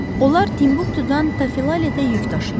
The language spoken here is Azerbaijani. Onlar Timbuktudan Tafiletə yük daşıyırdılar.